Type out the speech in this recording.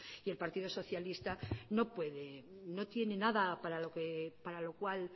y el partido socialista no puede no tiene nada para lo cual